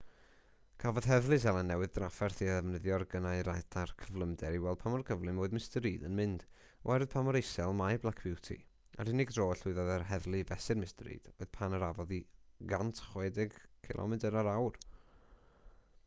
cafodd heddlu seland newydd drafferth i ddefnyddio'u gynnau radar cyflymder i weld pa mor gyflym roedd mr reid yn mynd oherwydd pa mor isel mae black beauty a'r unig dro y llwyddodd yr heddlu i fesur mr reid oedd pan arafodd i 160km yr awr